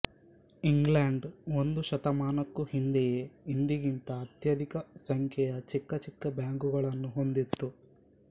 England ಒಂದು ಶತಮಾನಕ್ಕೂ ಹಿಂದೆಯೇ ಇಂದಿಗಿಂತ ಅತ್ಯಧಿಕ ಸಂಖ್ಯೆಯ ಚಿಕ್ಕ ಚಿಕ್ಕ ಬ್ಯಾಂಕುಗಳನ್ನು ಹೊಂದಿತ್ತು